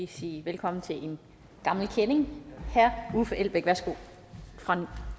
sige velkommen til en gammel kending herre uffe elbæk fra